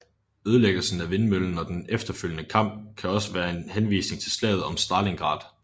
Ødelæggelsen af vindmøllen og den efterfølgende kamp kan også være en henvisning til slaget om Stalingrad